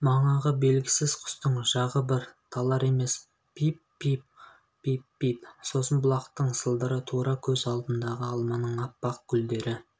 манағы белгісіз құстың жағы бір талар емес пип-пип пип-пип сосын бұлақтың сылдыры тура көз алдындағы алманың аппақ гүлдері